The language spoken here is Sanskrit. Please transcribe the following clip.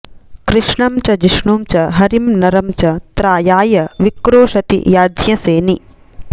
कृष्णं च जिष्णुं च हरिं नरं च त्रायाय विक्रोशति याज्ञसेनि